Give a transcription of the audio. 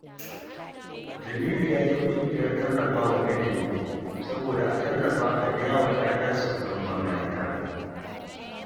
Jamilu ya je ƙungiyar tallafa wa ilimi saboda a tallafa a biya wa 'ya'yansa kuɗin makaranta